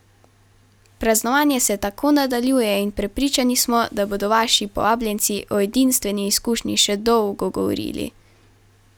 Praznovanje se tako nadaljuje in prepričani smo, da bodo vaši povabljenci o edinstveni izkušnji še dolgo govorili!